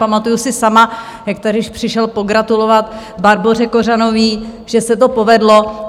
Pamatuju si sama, jak tady přišel pogratulovat Barboře Kořanové, že se to povedlo.